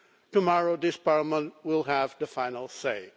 Tomorrow this Parliament will have the final say.